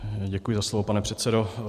Děkuji za slovo, pane předsedo.